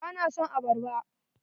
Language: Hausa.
Ba na son arbarba.